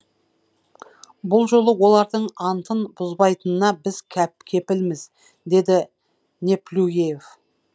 бұл жолы олардың антын бұзбайтынына біз кепілміз деді неплюев